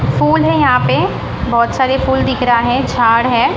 फूल हैं यहां पे बहोत सारे फूल दिख रहा है झाड़ है।